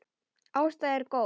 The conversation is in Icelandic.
Ásta er góð.